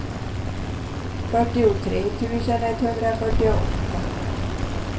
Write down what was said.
fyrtiotre tusen etthundrafyrtioåtta